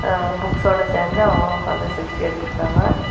ஆ புக்ஸோட சேந்து அவங்களும் ஒக்காந்து செல்பி எடுத்து இருக்காங்க.